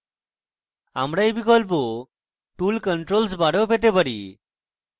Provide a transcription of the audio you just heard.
আমরা we বিকল্প tool controls bar we পেতে পারি